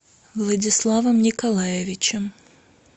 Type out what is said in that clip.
владиславом николаевичем